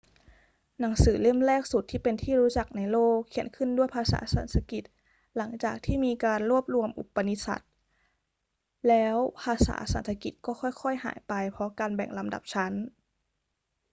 หนังสือเล่มแรกสุดที่เป็นที่รู้จักในโลกเขียนขึ้นด้วยภาษาสันสกฤต หลังจากที่มีการรวบรวมอุปนิษัทแล้ว ภาษาสันสกฤตก็ค่อย ๆ หายไปเพราะการแบ่งลำดับชั้น